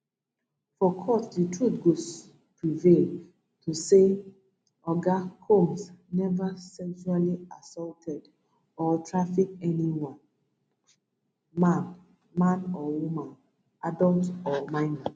for court di truth go prevail to say oga combs never sexually assaulted or traffic anyone man man or woman adult or minor